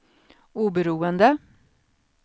oberoende